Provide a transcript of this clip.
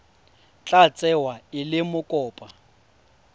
tla tsewa e le mokopa